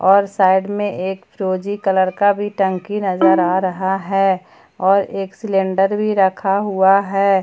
और साइड में एक प्रोजी कलर का टंकी भी नजर आ रहा है और एक सिलेंडर भी रखा हुआ है।